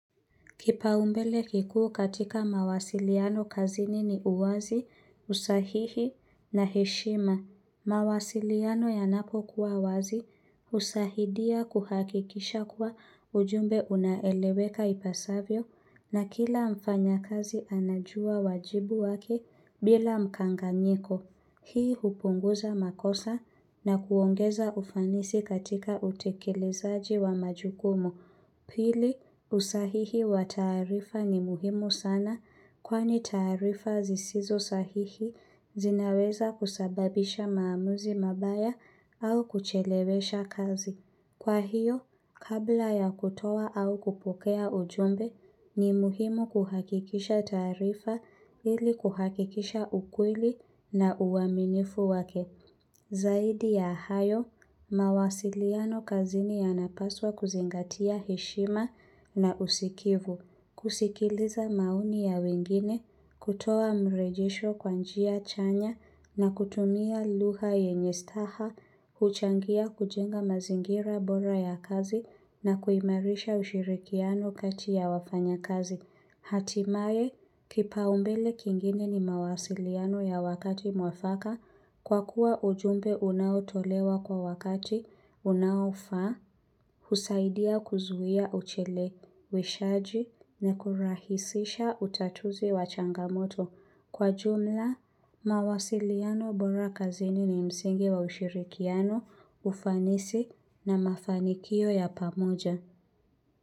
Kipaumbele kikuu katika mawasiliano kazini ni uwazi, usahihi na heshima. Mawasiliano yanapokuwa wazi husahidia kuhakikisha kuwa ujumbe unaeleweka ipasavyo na kila mfanyakazi anajua wajibu wake bila mkanganyiko. Hii hupunguza makosa na kuongeza ufanisi katika utekelezaji wa majukumu. Pili, usahihi wa taarifa ni muhimu sana kwani taarifa zisizo sahihi zinaweza kusababisha maamuzi mabaya au kuchelewesha kazi. Kwa hiyo, kabla ya kutoa au kupokea ujumbe ni muhimu kuhakikisha taarifa ili kuhakikisha ukweli na uaminifu wake. Zaidi ya hayo, mawasiliano kazini yanapaswa kuzingatia heshima na usikivu. Kusikiliza maoni ya wengine, kutoa mrejesho kwa njia chanya na kutumia lugha yenye staha huchangia kujenga mazingira bora ya kazi na kuimarisha ushirikiano kati ya wafanyakazi. Hatimaye, kipaumbele kingine ni mawasiliano ya wakati mwafaka kwa kuwa ujumbe unaotolewa kwa wakati unaofaa, husaidia kuzuia ucheleweshaji na kurahisisha utatuzi wa changamoto. Kwa jumla, mawasiliano bora kazini ni msingi wa ushirikiano, ufanisi na mafanikio ya pamoja.